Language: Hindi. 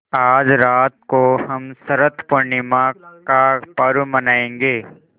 आज रात को हम शरत पूर्णिमा का पर्व मनाएँगे